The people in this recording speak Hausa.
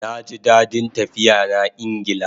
Naji dadin tafiya na Ingla